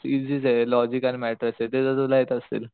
इसी आहे लॉजिक आणि मॅट्रायसेस तर तुला येत असेल